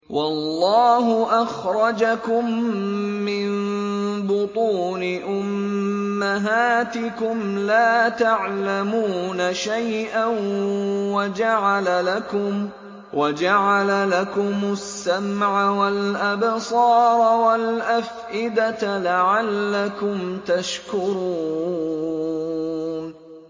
وَاللَّهُ أَخْرَجَكُم مِّن بُطُونِ أُمَّهَاتِكُمْ لَا تَعْلَمُونَ شَيْئًا وَجَعَلَ لَكُمُ السَّمْعَ وَالْأَبْصَارَ وَالْأَفْئِدَةَ ۙ لَعَلَّكُمْ تَشْكُرُونَ